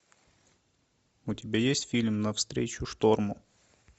у тебя есть фильм навстречу шторму